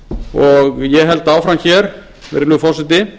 og ég held áfram hér virðulegi forseti